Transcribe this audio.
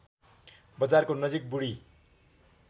बजारको नजिक बुढी